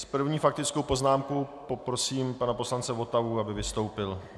S první faktickou poznámkou poprosím pana poslance Votavu, aby vystoupil.